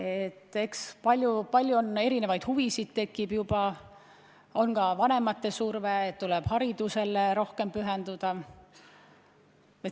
Vanemana tekib palju erinevaid huvisid, tihti on ka vanemate surve, et tuleb rohkem haridusele pühenduda.